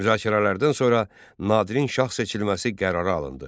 Müzakirələrdən sonra Nadirin şah seçilməsi qərara alındı.